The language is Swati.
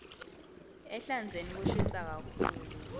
ehlandzeni kushisa kakhulu